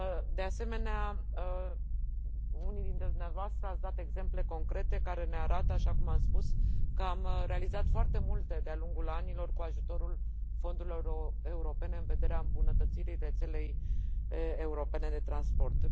De asemenea, unii dintre dumneavoastră ați dat exemple concrete care ne arată, așa cum am spus, că am realizat foarte multe de a lungul anilor cu ajutorul fondurilor europene în vederea îmbunătățirii rețelei europene de transport.